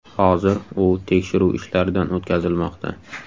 Hozir u tekshiruv ishlaridan o‘tkazilmoqda.